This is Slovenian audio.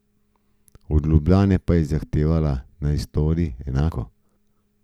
Od Ljubljane pa je zahtevala, naj stori enako.